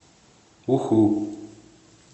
уху